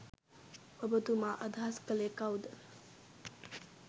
ඔබතුමා අදහස් කළේ කවුද?